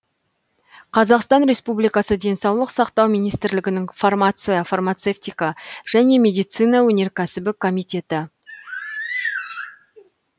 қазақстан республикасы денсаулық сақтау министрлігінің фармация фармацевтика және медицина өнеркәсібі комитеті